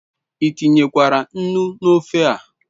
I tinyekwara nnu n'ofe a